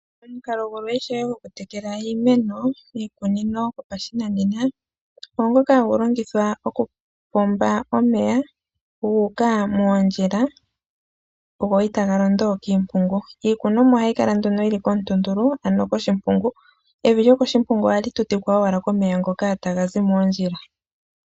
Omukalo gulwe gokutekela iimeno miikunino yopashinanena ongoka hagu longithwa okupomba omeya gu uka moondjila, go itaga londo kiimpungu. Iikunomwa ohayi kala yi li komutuntulu, ano koshimpungu. Evi lyokoshimpungu ohali tutikwa owala komeya ngoka taga zi moondjila.